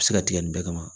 A bɛ se ka tigɛ nin bɛɛ kama